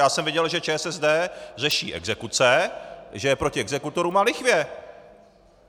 Já jsem viděl, že ČSSD řeší exekuce, že je proti exekutorům a lichvě!